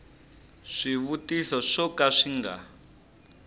swivutiso swo ka swi nga